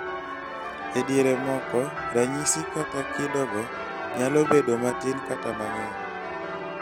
e diere moko, ranyisi kata kidogo nyalo bedo matin kata mang'eny